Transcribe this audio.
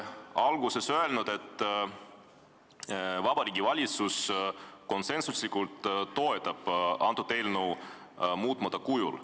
Alguses te ütlesite, et Vabariigi Valitsus konsensuslikult toetab seadust muutmata kujul.